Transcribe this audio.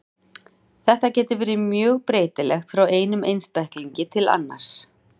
Þetta getur verið mjög breytilegt frá einum einstaklingi til annars.